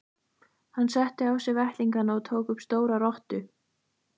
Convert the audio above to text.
Hann setti á sig vettlingana og tók upp stóra rottu.